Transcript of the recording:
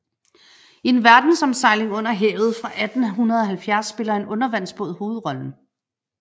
I En verdensomsejling under havet fra 1870 spiller en undervandsbåd hovedrollen